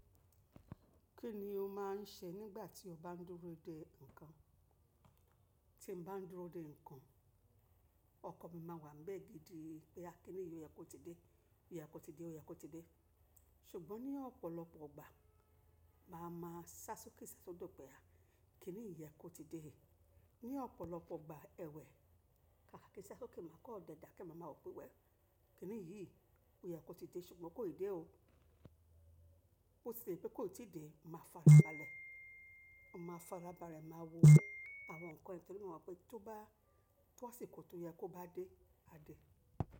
Kí ni o máà ń ṣe nígbà tí o bá ń dúró de ǹkan? Tí mo bá ń dúró de ǹkan, ọkan mi máa wà níbẹ̀ gidi pé a kini yí o yẹ kó ti dé, o yẹ kó ti dé, o yẹ kó ti dé. Ṣùgbọ́n ní ọ̀pọ̀lọpọ̀ ọgbà, màá máa ṣá sókè ṣá sódò pé a kini ní ìyẹ́ kó ti dé. Ní ọ̀pọ̀lọpọ̀ ọgbà ẹ̀wẹ́, kaakiri ṣá sókè, màá kọ́ ọ̀dẹ̀ da kẹ́ màá máa wò pé wẹ̀ kini yìí, ó yẹ kó ti dé ṣùgbọ́n kò ti dé o. Ó ṣe pé kó ti dé, màá farabalẹ̀, màá farabalẹ̀, màá wo àwọn ǹkan ẹ́ torí mo mọ̀ pé tó bá, tó sì kò tó yẹ kó bá dé, a dé.